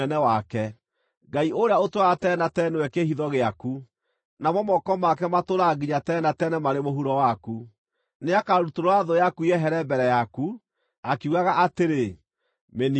Ngai ũrĩa ũtũũraga tene na tene nĩwe kĩĩhitho gĩaku, namo moko make matũũraga nginya tene na tene marĩ mũhuro waku. Nĩakarutũrũra thũ yaku yehere mbere yaku, akiugaga atĩrĩ, ‘Mĩniine!’